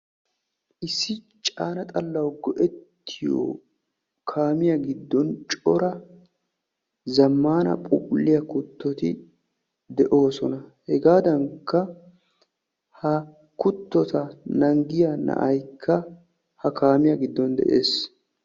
issi caana xalawu go'ettiyo kaamiya giddon cora zamaana phuuphulliya kuttoti de'oosona. hegaadankka ha kutotta naagiyaa na'ay ha kaamiyaa goddon dees.